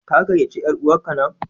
Ka gayyaci yar'uwarka nan!